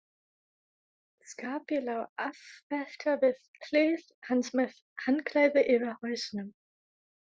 Skarpi lá afvelta við hlið hans með handklæði yfir hausnum.